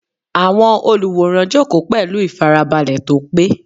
Àwọn olùwòran jókòó pẹ̀lú ìfarabalẹ̀ tó pé.